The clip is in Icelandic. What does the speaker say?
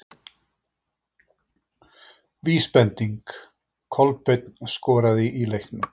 Vísbending: Kolbeinn skoraði í leiknum?